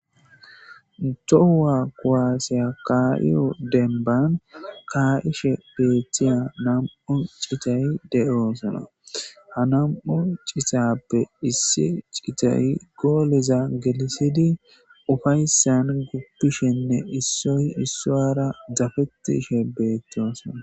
Tohuwa kuwaasiya ka7iyo dembban kaa7ishe beethiya nam7u citayi de7oosona. Ha nam7u citaappe issi citayi gooleza gelissidi ufayssan guppishinne issoy issowara dafettishe beettosona.